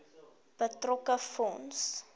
betrokke fonds